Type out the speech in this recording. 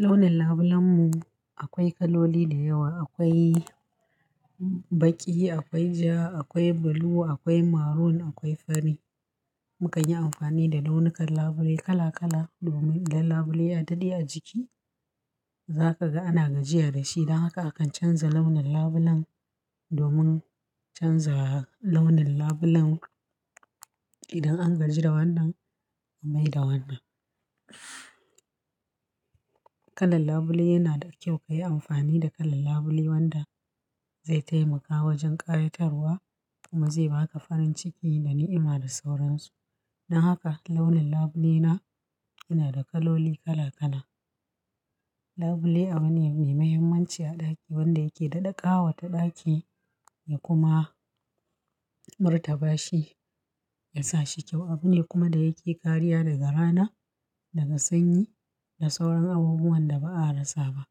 Launin labulen mu akwai kaloli da yawa, akwai baƙi, akwai ja, akwai blue, akwai maroon, akwai fari. Muka yi amfani da launukan labule kala kala domin idan labule ya daɗe a jiki. Za kaga ana gajiya da shi. Don haka akan canza launin labulen domin canza launin labulen. Idan an gaji da wannan, a maida wannan. Kalar labule yana da kyau ka yi amfani da kalal labule wanda zai taimaka wajen ƙayatarwa kuma zai ba ka farin ciki da ni'ima da sauransu. Don haka launin labule na yana da kaloli kala kala. Labule abu ne mai muhimmanci a ɗaki wanda yake da ɗaƙawa ta ɗaki ya kuma murtaba shi ya sa shi kyau. Abu ne kuma da yake kariya daga rana, daga sanyi da sauran abubuwan da ba a rasa ba.